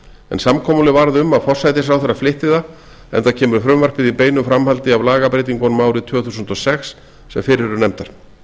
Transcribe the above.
en samkomulag varð um að forsætisráðherra flytti það enda kemur frumvarpið í beinu framhaldi af lagabreytingunum árið tvö þúsund og sex sem fyrr eru nefndar